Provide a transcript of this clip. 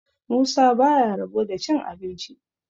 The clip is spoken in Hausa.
musa ba ya rabo da cin abinci